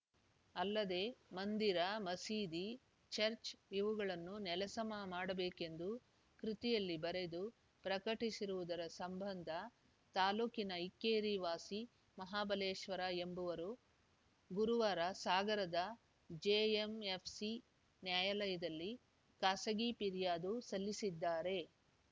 ಅಲ್ಲದೆ ಮಂದಿರ ಮಸೀದಿ ಚರ್ಚ್ ಇವುಗಳನ್ನು ನೆಲಸಮ ಮಾಡಬೇಕೆಂದು ಕೃತಿಯಲ್ಲಿ ಬರೆದು ಪ್ರಕಟಿಸಿರುವುದರ ಸಂಬಂಧ ತಾಲೂಕಿನ ಇಕ್ಕೇರಿ ವಾಸಿ ಮಹಾಬಲೇಶ್ವರ ಎಂಬುವರು ಗುರುವಾರ ಸಾಗರದ ಜೆಎಂಎಫ್‌ಸಿ ನ್ಯಾಯಾಲಯದಲ್ಲಿ ಖಾಸಗಿ ಪಿರ್ಯಾದು ಸಲ್ಲಿಸಿದ್ದಾರೆ